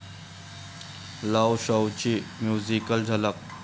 love शव..'ची musical झलक